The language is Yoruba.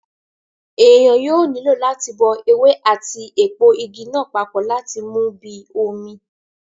Èèyàn yóò nílò láti bọ ewé àti èpo Igi náà papọ láti mú bíi omi